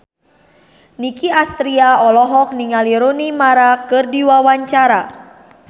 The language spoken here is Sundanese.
Nicky Astria olohok ningali Rooney Mara keur diwawancara